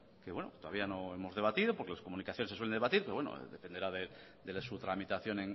que bueno todavía no hemos debatido porque las comunicaciones se suelen debatir pero bueno dependerá de su tramitación